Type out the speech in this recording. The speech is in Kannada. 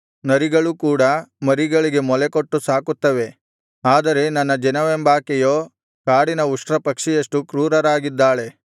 ನರಿಗಳು ಕೂಡಾ ಮರಿಗಳಿಗೆ ಮೊಲೆಗೊಟ್ಟು ಸಾಕುತ್ತವೆ ಆದರೆ ನನ್ನ ಜನವೆಂಬಾಕೆಯೋ ಕಾಡಿನ ಉಷ್ಟ್ರಪಕ್ಷಿಯಷ್ಟು ಕ್ರೂರಳಾಗಿದ್ದಾಳೆ